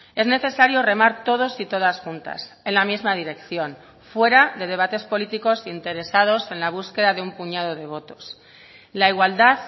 es necesario remar todos y todas juntas en la misma dirección fuera de debates políticos interesados en la búsqueda de un puñado de votos la igualdad